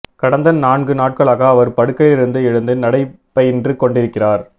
கடந்த நான்கு நாட்களாக அவர் படுக்கையிலிருந்து எழுந்து நடை பயின்று கொண்டிருக்கிறார்